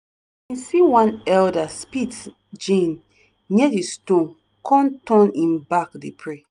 see one elder spit gin near di stone con turn him back dey pray.